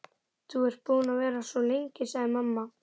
Þú ert búin að vera svo lengi, sagði mamma.